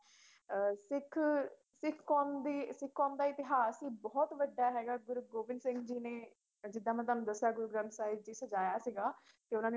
ਅਹ ਸਿੱਖ ਸਿੱਖ ਕੌਮ ਦੀ ਸਿੱਖ ਕੌਮ ਦਾ ਇਤਿਹਾਸ ਹੀ ਬਹੁਤ ਵੱਡਾ ਹੈਗਾ ਗੁਰੂ ਗੋਬਿੰਦ ਸਿੰਘ ਜੀ ਨੇ ਅਹ ਜਿੱਦਾਂ ਮੈਂ ਤੁਹਾਨੂੰ ਦੱਸਿਆ ਗੁਰੂ ਗ੍ਰੰਥ ਸਾਹਿਬ ਜੀ ਸਜਾਇਆ ਸੀਗਾ, ਤੇ ਉਹਨਾਂ ਨੇ